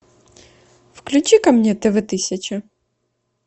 включи ка мне тв тысяча